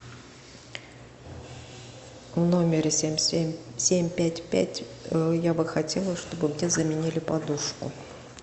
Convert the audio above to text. в номере семь семь семь пять пять я бы хотела чтобы мне заменили подушку